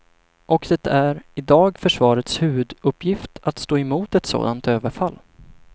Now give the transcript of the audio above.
Och det är i dag försvarets huvuduppgift att stå emot ett sådant överfall.